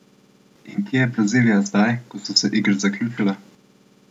In kje je Brazilija zdaj, ko so se Igre zaključile?